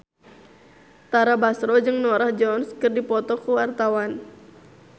Tara Basro jeung Norah Jones keur dipoto ku wartawan